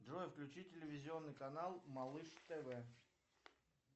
джой включи телевизионный канал малыш тв